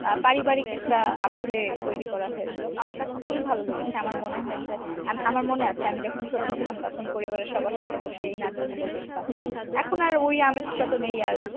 আহ পারিবারিক একটা আবহাওয়া তৈরি করা হয়েছিল আমার কাছে খুবই ভালো লেগেছে আমার মনে হয়েছে আম আমার মনে আছে আমি যখন ছোট ছিলাম তখন পরিবারের সবার সাথে বসে এই নাটক গুলো দেখতাম এখন এখন আর ঐ আমেজটা তো নেই আর